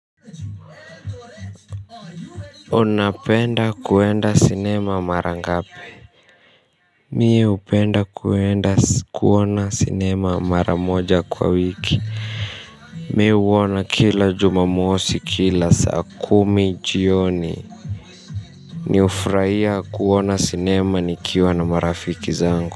Unapenda kuenda sinema mara ngapi? Mi hupenda kuenda kuona sinema mara moja kwa wiki. Mi huona kila jumamosi kila saa kumi jioni. Ni hufurahia kuona sinema nikiwa na marafiki zangu.